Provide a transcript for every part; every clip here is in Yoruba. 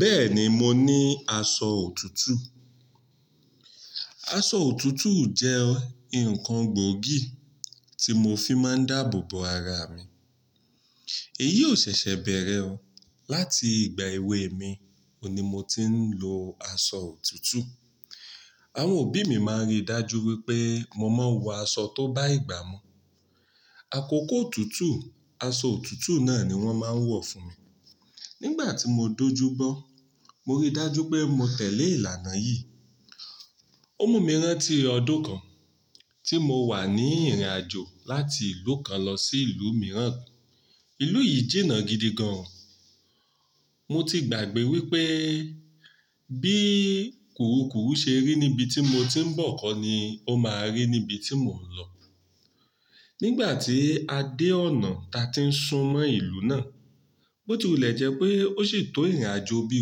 Bẹ́ẹ̀ni mo ní aṣọ òtútù. Aṣọ òtútù jẹ́ nǹkan gboógì tí mo fi máa ń dáàbò bo ara mi. Èyí ò ṣẹ̀ṣẹ̀ bẹ̀rẹ̀ o Láti ìgbà èwe mi ohun ni mo ti ń lo aṣọ òtútù. Àwọn òbí mi máa ń rí i dájú wípé mo máa ń wọ aṣọ tó bá ìgbà mu. Àkókò òtútù, aṣọ òtútù náà ni wọ́n máa ń wọ̀ fún mi. Nígbà tí mo dojú bọ́, mo rí dájú pé mo tẹ̀lé ìlànà yìí. Òmu mi rán tí ọdún kan tí mo wà ní ìrìnàjò láti ìlú kan lọ sí ìlú mìíràn. Ìlú yìí jìnnà gidi gan. Mo ti gbàgbé wípé bí kurukuru ṣe rí níbi tí mo ti ń bọ̀ kọ́ ni ó máa rí níbi tí mò ń lọ. Nígbà tí a dé ọ̀nà ta ti ń sun mọ́ ìlú náà, bó ti wu le jẹ́ pé ó sì tó ìrìnàjò bí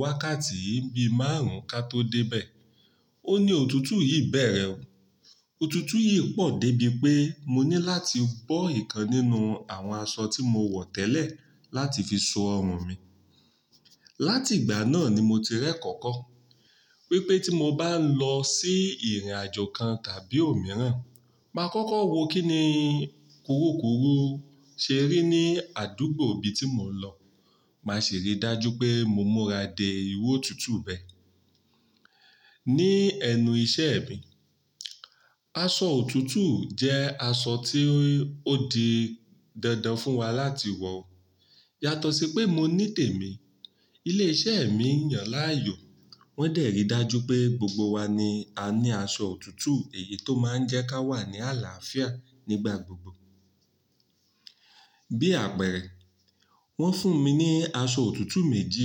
wákàtí bí márùn-ún ka tó dé bẹ́ẹ̀. Óhun ní òtútù yìí bẹ̀rẹ̀. Òtútù yìí pọ̀ débi pé mo ní láti bọ́ ìkan nínú àwọn aṣọ tí mo wọ̀ tẹ́lẹ̀ láti fi so ọrùn mi. Láti ìgbà náà ni mo ti rẹ́ ko ko wípé tí m o bá ń lọ sí ìrìnàjò kan tàbí òmíràn, màá kọ́kọ́ wo kí ni kurukuru ṣe rí ní àdúgbò ibi tí mò ń lọ, màá sì rí dájú pé mo múra de ìru òtútù bẹ́ẹ̀. Ni ẹnu iṣẹ́ mi, aṣọ òtútù jẹ́ aṣọ tí ó di dandan fún wa láti wọ. Yàtọ̀ sí pé mo ní tèmi, ilé iṣẹ́ mi yàn láàyò. Wọ́n de rí dájú pé gbogbo wa ni a ní aṣọ òtútù èyí tó máa ń jẹ́ ká wà ní àlàáfíà nígbà gbogbo. Bí àpẹẹrẹ, wọ́n fún mi ní aṣọ òtútù méjì.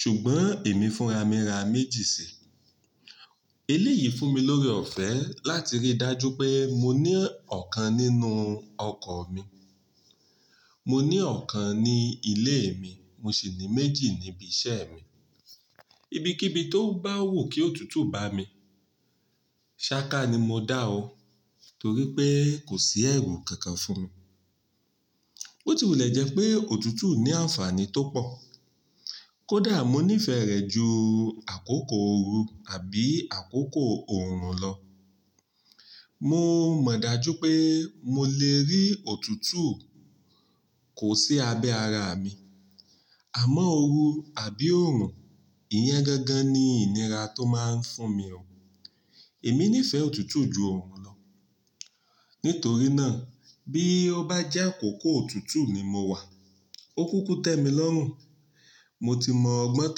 Ṣùgbọ́n èmi fúnra mí ra méjì síi. Eléyìí fún mi lóre ọ̀fẹ́ láti rí dájú pé mo ní ọ̀kan nínú ọkọ̀ mi. Mo ní ọ̀kan ní ilé mi, mo sì ní méjì níbi iṣẹ́ mi. Ibi kí ibi tó bá wù kí òtútù bá mi, sáká ni mo dá ọ́ torí pé kò sí ẹ̀rù kankan fún mi. Bó ti wule jẹ́ pé òtútù ní àǹfààní tó pọ̀, kó dà mọ́ nífẹ̀ẹ́ rẹ̀ ju àkókò òru àbí àkókò òòrùn lọ. Mo mọ̀ dájú pé mo lè rí òtútù kò sí abẹ́ ara mi. Àmọ́ òru àbí òòrùn, ìyẹn gangan ni ìníra tó máa ń fún mi. Èmi nífẹ̀ẹ́ òtútù ju òòrùn lọ. Nítorí náà, bí ó bá jẹ́ àkókò òtútù ni mo wà, ó kúkú tẹ́mi lọ́rùn. Mo ti mọ ọgbọ́n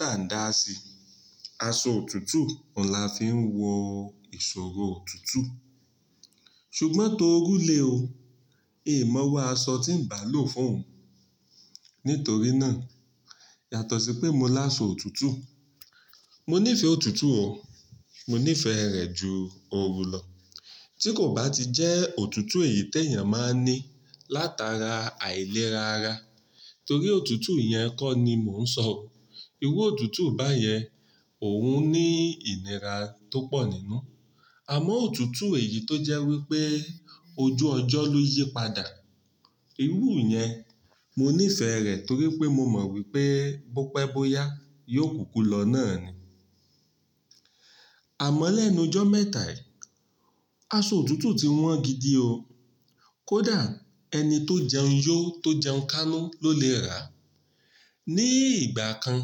tàndá sí i. Aṣọ òtútù, ọ̀hun la fi ń wọ ìṣòro òtútù. Ṣùgbọ́n torú lé o, in máa iru aṣọ tí ń bá lò fún òun. Nítorí náà, yàtọ̀ sí pé mo láṣọ òtútù, mo nífẹ̀ẹ́ òtútù o. Mo nífẹ̀ẹ́ rẹ̀ ju òru lọ. Tí kò bá ti jẹ́ òtútù èyí tí èèyàn máa ń ní látara àìlera ara, torí òtútù ìyẹn kọ́ ni mò ń sọ. Iru òtútù báyẹn òun ní ìníra tó pọ̀ nínú. Àmọ́ òtútù èyí tó jẹ́ wípé ojú ọjọ́ ló yípadà, ìrú ìyẹn, mo nífẹ̀ẹ́ rẹ̀ torí pé mo mọ̀ wípé bó pẹ́ bó yá, yóò kúkú lọ náà ni. Àmọ́ lẹ́nu jọ́ mẹ́ta yìí, aṣọ òtútù ti wọ́n gidi o. Kódà ẹni tó jẹun yó tó jẹun kánú ló lè rà á. Ni ìgbà kan,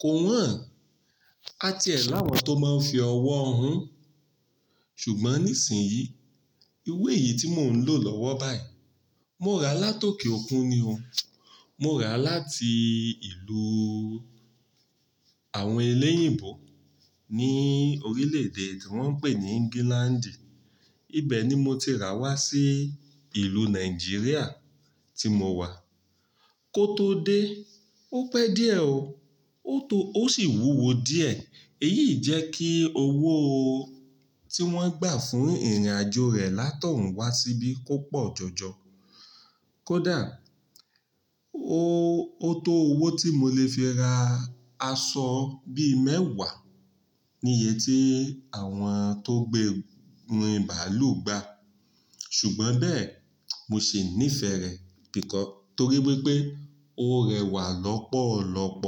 kò wọ́n àti ẹ̀ láwọn tó máa ń fi ọwọ́ hun. Ṣùgbọ́n nísìnyí, ìru eyí tí mò ń lò lọ́wọ́ báyìí, mo rà á látòkè òkun ni o. Mo rà á láti ìlú àwọn elẹ́yìńbọ̀ ní orílẹ̀ èdè tí wọ́n ń pè ní England. Ibẹ̀ ni mo ti rà wá sí ìlú Nàìjíríà tí mo wà. Kó tó dé, ó pẹ́ díẹ̀ o. Ó tó, ó sì wúwo díẹ̀. Èyí jẹ́ kí owó tí wọ́n gbà fún ìrìnàjò rẹ̀ látọ̀ún wá síbí kó pọ̀ jọjọ. Kódà ó tó owó tí mo lè fi ra aṣọ bí mẹ́wàá ní iye tí àwọn tó gbé ńrin bàálù gbà. Ṣùgbọ́n bẹ́ẹ̀, mo sì nífẹ̀ẹ́ rẹ̀ biko torí wípé ó rẹwà lọ́pọ̀lọ́pọ̀.